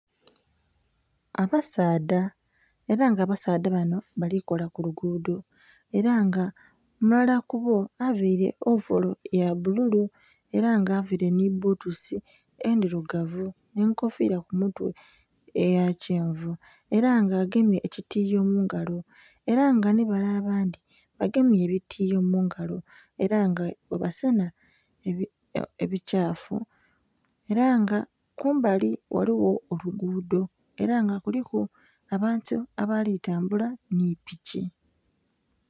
Abasaadha ela nga abasaadha bano bali kola ku luguudo. Ela nga omulala ku bo availe ovolo ya bbululu, ela nga availe nhi bbutusi endhirugavu nh'enkofiira ku mutwe eya kyenvu. Ela nga agemye ekitiiyo mu ngalo, ela nga nhi bale abandhi bagemye ebitiiyo mu ngalo. Ela nga bwebasenha ebikyafu. Ela nga kumbali ghaligho oluguudo ela nga kuliku abantu abali tambula nhi piki.